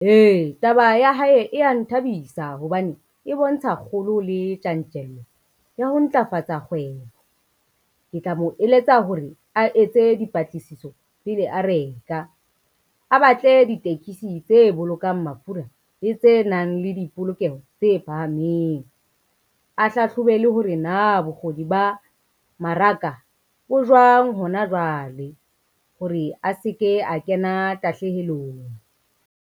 Ee, taba ya hae e ya nthabisa hobane e bontsha kgolo, le tjantjello ya ho ntlafatsa kgwebo. Ke tla mo eletsa hore a etse dipatlisiso pele a reka, a batle ditekesi tse bolokang mafura le tse nang le dipolokeho tse phahameng, a hlahlobe le hore na bokgoni ba maraka bo jwang hona jwale hore a se ke a kena tahlehelo.